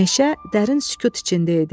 Meşə dərin sükut içində idi.